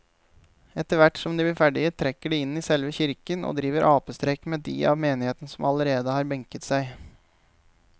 Etterthvert som de blir ferdige trekker de inn i selve kirken og driver apestreker med de av menigheten som allerede har benket seg.